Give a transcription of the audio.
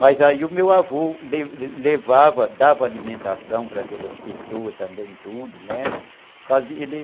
Mas aí o meu avô le levava, dava alimentação para aquelas pessoas também, tudo, né?